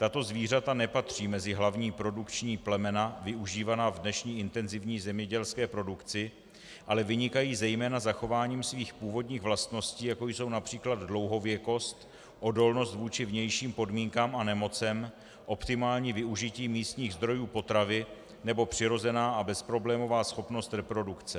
Tato zvířata nepatří mezi hlavní produkční plemena využívaná v dnešní intenzivní zemědělské produkci, ale vynikají zejména zachováním svých původních vlastností, jako jsou například dlouhověkost, odolnost vůči vnějším podmínkám a nemocem, optimální využití místních zdrojů potravy nebo přirozená a bezproblémová schopnost reprodukce.